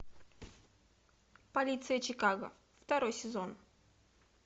полиция чикаго второй сезон